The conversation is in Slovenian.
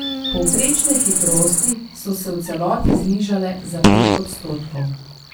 Povprečne hitrosti so se v celoti znižale za pet odstotkov.